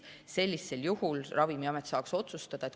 Sellisel juhul Ravimiamet saab otsustada.